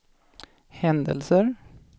händelser